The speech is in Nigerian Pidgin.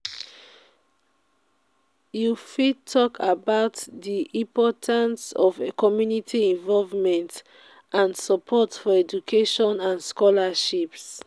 you fit talk about di importance of community involvement and support for education and scholarships.